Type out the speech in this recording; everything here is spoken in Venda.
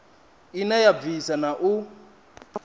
ine ya bvisa na u